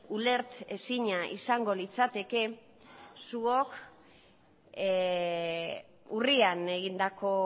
ulertezina izango litzateke zuok urrian egindako